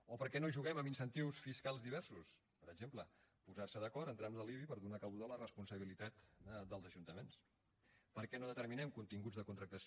o per què no juguem amb incentius fiscals diversos per exemple posarse d’acord en trams de l’ibi per donar cabuda a la responsabilitat dels ajuntaments per què no determinem continguts de contractació